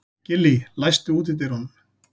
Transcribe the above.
Gillý, læstu útidyrunum.